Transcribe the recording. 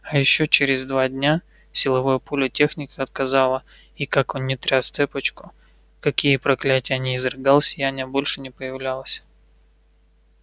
а ещё через два дня силовое поле техника отказало и как он ни тряс цепочку какие проклятия ни изрыгал сияние больше не появлялось